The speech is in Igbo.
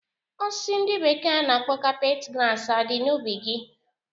Osisi ndi bekee na-akpọ carpet grass adi na ubi gi?